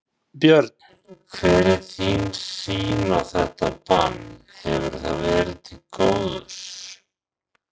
Björn: Hver er þín sýn á þetta bann, hefur það verið til góðs?